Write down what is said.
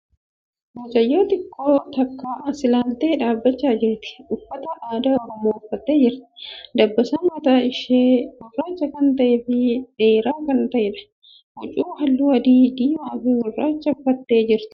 Mucayyoo xiqqoon takka as ilaaltee dhaabbachaa jirti. Uffata aadaa Oromoo uffattee jirti. Dabbasaan mataa ishee gurraacha kan ta'ee fi dheeraa kan ta'eedha. Huccuu haalluu adii, diimaa fi gurraacha uffattee jirti.